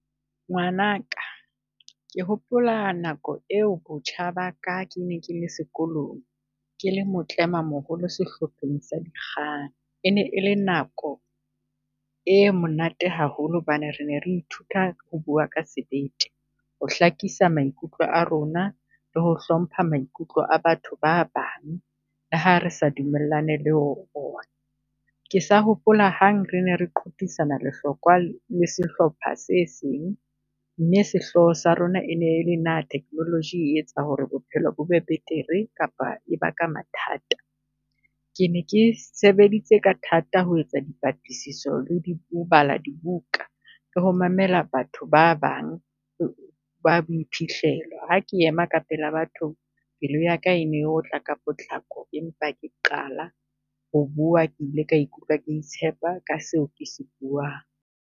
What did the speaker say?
Ngwanaka ke hopola nako eo botjha ba ka ke ne ke le sekolong, ke le motlemamoholo sehlopheng sa do . E ne e le nako e monate haholo hobane re ne re ithuta ho bua ka sebete. Ho hlakisa maikutlo a rona, le ho hlompha maikutlo a batho ba bang, le ha re sa dumellane le ona. Ke sa hopola hang re ne re qoqisana lehlokwa le sehlopha se seng, mme sehloho sa rona ene le na technology e etsa ho re bophelo bo be betere kapa e baka mathata? Ke ne ke sebeditse ka thata ho etsa dipatlisiso le di, ho bala dibuka, le ho mamela batho ba bang ba boiphihlelo. Ha ke ema ka pela batho, pelo ya ka e otla ka potlako, empa ke qala ho bua ke ile ka ikutlwa ke itshepa ka seo ke se buang.